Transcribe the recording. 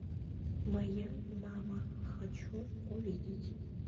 моя мама хочу увидеть